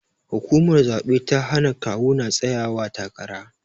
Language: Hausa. Hukumar zabe ta hana kawu na tsayawa takara.